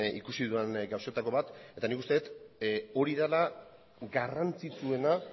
ikusi dudan gauzetako bat eta nik uste dut hori dela garrantzitsuena